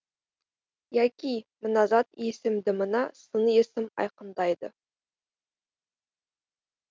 яки мына зат есімді мына сын есім айқындайды